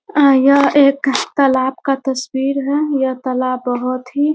अ यह एक तालाब का तस्वीर है। यह तालाब बहुत ही --